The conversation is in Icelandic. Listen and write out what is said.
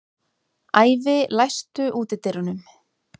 Ævi, læstu útidyrunum.